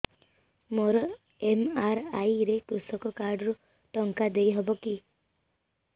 ମୋର ଏମ.ଆର.ଆଇ ରେ କୃଷକ କାର୍ଡ ରୁ ଟଙ୍କା ଦେଇ ହବ କି